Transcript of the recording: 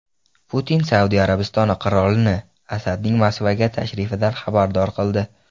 Putin Saudiya Arabistoni qirolini Asadning Moskvaga tashrifidan xabardor qildi.